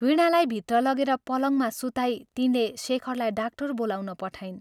वीणालाई भित्र लगेर पलङ्गमा सुताई तिनले शेखरलाई डाक्टर बोलाउन पठाइन्।